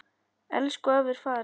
Elsku afi er farinn.